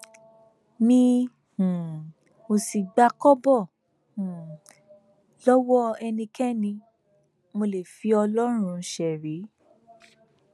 mi um ò sì gba kọbọ um lọwọ ẹnikẹni mo lè fi ọlọrun ṣerí